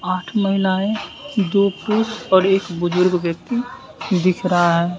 आठ महिलाएं दो पुरुष और एक बुजुर्ग व्यक्ति दिख रहा है।